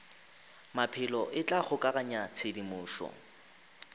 maphelo e tla kgokaganya tshedimošo